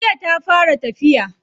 Jiya ta fara tafiya.